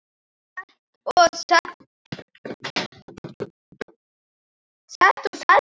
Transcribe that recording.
Set og setberg